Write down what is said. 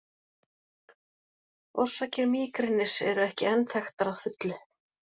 Orsakir mígrenis eru ekki enn þekktar að fullu.